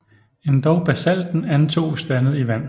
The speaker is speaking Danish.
Endog Basalten antoges dannet i Vand